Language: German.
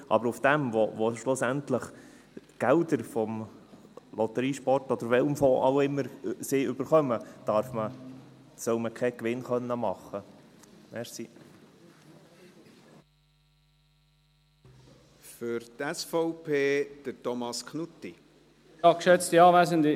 Aber mit dem, wofür sie schlussendlich Gelder aus dem Lotterie-, Sport- oder aus welchem Fonds auch immer bekommen, sollen sie keine Gewinne machen dürfen.